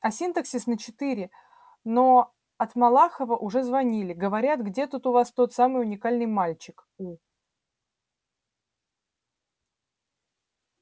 а синтаксис на четыре но от малахова уже звонили говорят где тут у вас тот самый уникальный мальчик у